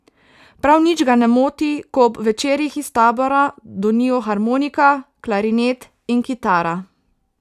Prav nič ga ne moti, ko ob večerih iz tabora donijo harmonika, klarinet in kitara.